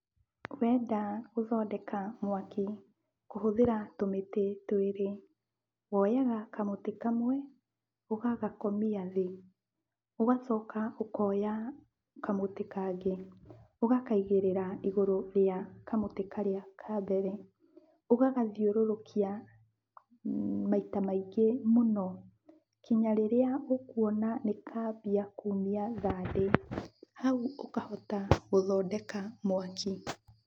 Wenda gũthondeka mwaki kũhũthĩra tũmĩtĩ twĩrĩ, woyaga kamũtĩ kamwe ũgagakomia thĩ. Ũgacoka ũkoya kamũtĩ kangĩ ũgakaigĩrĩra igũrũ rĩa kamũtĩ karĩa ka mbere. Ũgagathiũrũrũkia maita maingĩ mũno kinya rĩrĩa ũkuona nĩkamia kumia thandĩ, hau ũkahota gũthondeka mwaki.